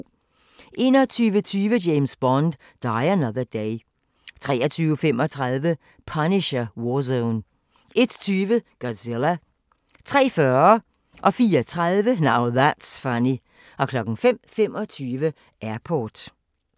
21:20: James Bond: Die Another Day 23:35: Punisher: War Zone 01:20: Godzilla 03:40: Now That's Funny 04:30: Now That's Funny 05:25: Airport